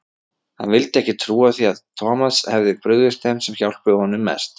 Hann vildi ekki trúa því að Thomas hefði brugðist þeim sem hjálpuðu honum mest.